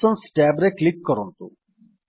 options tab ରେ click କରନ୍ତୁ